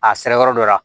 A sɛbɛ yɔrɔ dɔ la